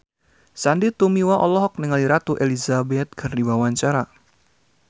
Sandy Tumiwa olohok ningali Ratu Elizabeth keur diwawancara